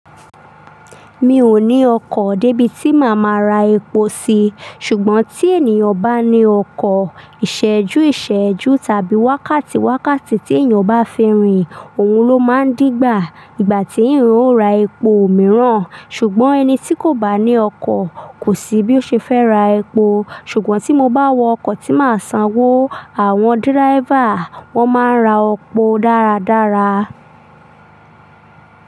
Mi ò ní ọkọ̀ débi tí màá máa ra epo sí, ṣùgbọ́n tí ènìyàn bá ní ọkọ̀, ìṣẹ́jú ìṣẹ́jú tàbí wákàtí wákàtí tí ènìyàn bá fẹ́ rìn, òun ló máa ń dìgbà, ìgbà tí eeyan ó ra epo mìíràn, ṣùgbọ́n ẹni tí kò bá ní ọkọ̀ kò sí bí ó ṣe fẹ́ ra epo. Ṣùgbọ́n tí mo bá wọ ọkọ̀ tí màá sanwó, àwọn driver wọ́n máa ń ra epo dáradára.